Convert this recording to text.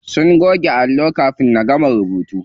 Sun goge allon kafin na gama rubutawa.